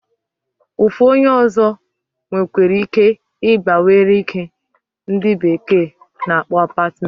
Ofu onye ozo nwekwere ike iba were nke ndi bekee na akpo apartment.